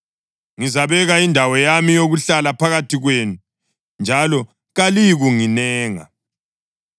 Ngizabeka indawo yami yokuhlala phakathi kwenu, njalo kaliyikunginenga.